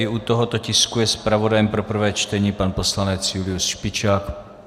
I u tohoto tisku je zpravodajem pro prvé čtení pan poslanec Julius Špičák.